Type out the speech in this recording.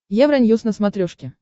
евроньюс на смотрешке